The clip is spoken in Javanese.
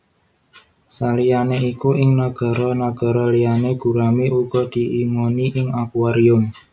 Saliyané iku ing nagara nagara liyané gurami uga diingoni ing akuarium